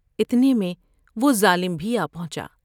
اتنے میں وہ ظالم بھی آ پہنچا ۔